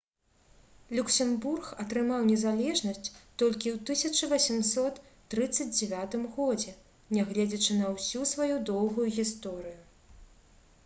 люксембург атрымаў незалежнасць толькі ў 1839 годзе нягледзячы на ўсю сваю доўгую гісторыю